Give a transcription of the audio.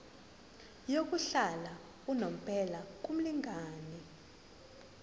yokuhlala unomphela kumlingani